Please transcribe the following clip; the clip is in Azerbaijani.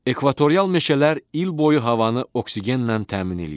Ekvatorial meşələr il boyu havanı oksigenlə təmin eləyir.